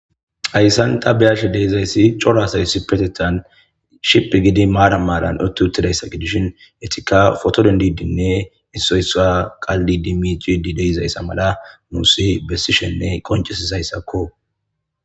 hayssanta beyashe deizayssi cora sayssi petethan ship gidi maara maaran otti uttidayssa gidishin etika foto dendidinne issoysa qaldi di miciuidi deizayssa mala muusi bessishenne qoncesizayssakko